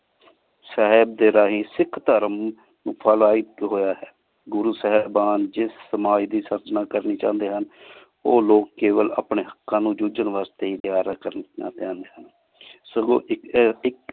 ਸਾਹੇਬ ਡੀ ਰਹਿਣ ਸਿਖ ਧਰਮ ਹੋਯਾ ਹੈ ਗੁਰੂ ਸਾਹੇਬਨ ਜਿਸ ਸਮਾਜ ਦੀ ਸਚਨਾ ਕਰਨਾ ਚੌੰਡੀ ਹਨ ਓਹ ਲੋਗ ਕੇਵਲ ਅਪਨੀ ਹਾਕ਼ਕ਼ਾਂ ਨੂ ਜੋਜਨ ਵਾਸ੍ਟੀ ਹੇ ਸਗੋਂ ਇਕ